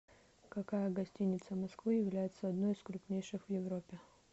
какая гостиница москвы является одной из крупнейших в европе